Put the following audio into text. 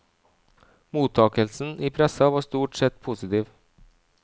Mottakelsen i pressa var stort sett positiv.